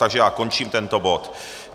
Takže já končím tento bod.